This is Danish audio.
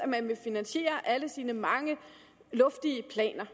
man vil finansiere alle sine mange luftige planer